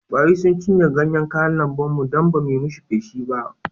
Kwari sun cinye ganyen kayan lambun mu don ba mu yi mai feshi ba